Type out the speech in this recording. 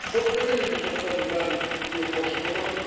көптеген эпизодтардың бәрін мен қосып отырдым